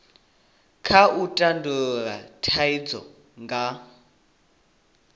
kha u tandulula thaidzo nga